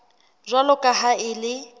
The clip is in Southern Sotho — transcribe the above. jwalo ka ha e le